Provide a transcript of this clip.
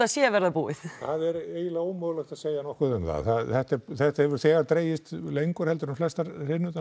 sé að verða búið það er eiginlega ómögulegt að segja nokkuð um það þetta hefur þegar dregist lengur heldur en flestar